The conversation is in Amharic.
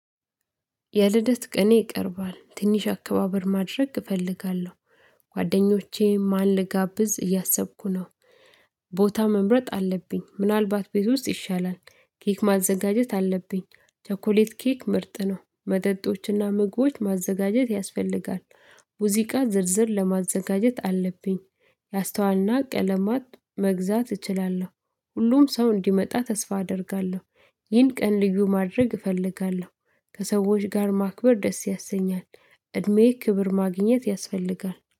የልደት ቀኔ ቀርቧል፤ ትንሽ አከባበር ማድረግ እፈልጋለሁ፤ ጓደኞቼ ማን ልጋብዝ እያሰብኩ ነው። ቦታ መምረጥ አለብኝ፤ ምናልባት ቤት ውስጥ ይሻላል፤። ኬክ ማዘጋጀት አለብኝ፤። ቸኮሌት ኬክ ምርጥ ነው፤ መጠጦችና ምግቦች ማዘጋጀት ያስፈልጋል። ሙዚቃ ዝርዝር ለማዘጋጀት አለብኝ ያስተዋልና ቀለማት መግዛት እችላለሁ፤። ሁሉም ሰው እንዲመጣ ተስፋ አደርጋለሁ። ይህን ቀን ልዩ ማድረግ እፈልጋለሁ። ከሰዎች ጋር ማክበር ደስ ያሰኛል። እድሜዬ ክብር ማግኘት ያስፈልጋል